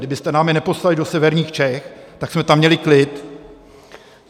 Kdybyste nám je neposílali do severních Čech, tak jsme tam měli klid!